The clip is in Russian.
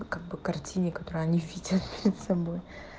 как по картине которые они видят перед собой